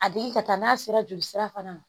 A digi ka taa n'a sera joli sira fana ma